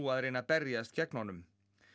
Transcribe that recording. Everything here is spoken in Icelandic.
að reyna að berjast gegn honum